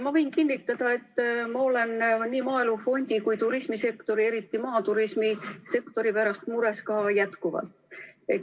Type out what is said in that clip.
Ma võin kinnitada, et ma olen nii maaelu fondi kui ka turismisektori, eriti maaturismi sektori pärast jätkuvalt mures.